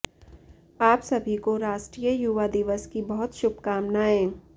आप सभी को राष्ट्रीय युवा दिवस की बहुत शुभकामनाएं